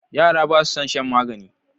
Yara basu son shan magani.